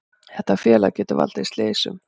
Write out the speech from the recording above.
Þetta félag getur valdið slysum,